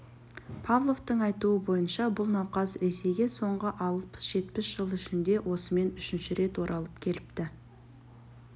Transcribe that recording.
павловтың айтуы бойынша бұл науқас ресейге соңғы алпыс-жетпіс жыл ішінде осымен үшінші рет оралып келіпті